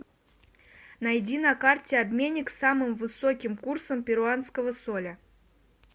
найди на карте обменник с самым высоким курсом перуанского соля